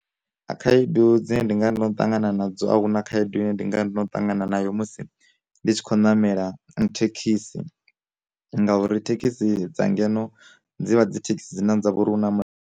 Khaedu dzine ndi nga ndono ṱangana na dzo a huna khaedu ine ndinga ndono ṱangana nayo musi ndi tshi khou namela thekhisi, ngauri thekhisi dza ngeno dzivha dzi thekhisi dzine dza vha uri hu na mulalo.